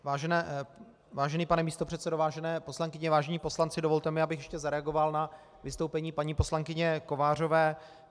Vážený pane místopředsedo, vážené poslankyně, vážení poslanci, dovolte mi, abych ještě zareagoval na vystoupení paní poslankyně Kovářové.